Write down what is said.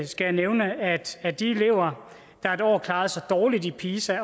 skal jeg nævne at af de elever der et år klarede sig dårligt i pisa